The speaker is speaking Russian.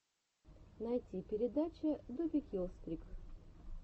найти передача добикилстрик